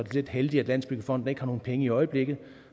heldigt at landsbyggefonden ikke har nogen penge i øjeblikket